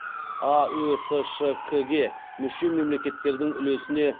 аөсшк ге мүше мемлекеттердің үлесіне